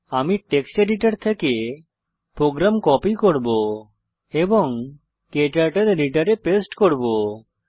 আমি text editor থেকে program copy করে ক্টার্টল এডিটরে পেস্ট করব